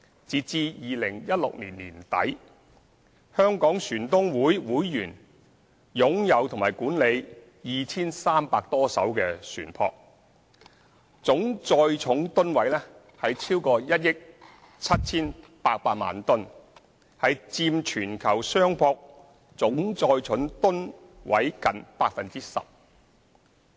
截至2016年年底，香港船東會會員擁有及管理 2,300 多艘船舶，總載重噸位超過1億 7,800 萬噸，佔全球商船總載重噸位近 10%。